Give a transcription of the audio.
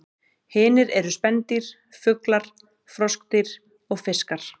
Hinir eru spendýr, fuglar, froskdýr og fiskar.